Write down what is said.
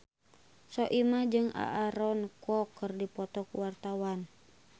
Soimah jeung Aaron Kwok keur dipoto ku wartawan